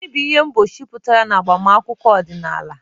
Gịnị bụ ihe mkpuchi pụtara n'agbamakwụkwọ ọdịnala?